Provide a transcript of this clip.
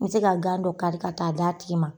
N bɛ se ka gan dɔ kari ka taa d'a tigi ma.